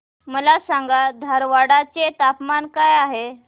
मला सांगा धारवाड चे तापमान काय आहे